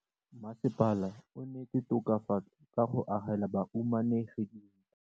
Mmasepala o neetse tokafatsô ka go agela bahumanegi dintlo.